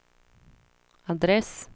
adress